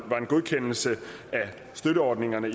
godkendelse af støtteordningerne